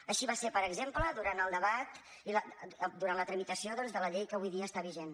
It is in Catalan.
així va ser per exemple durant el debat i durant la tramitació doncs de la llei que avui dia està vigent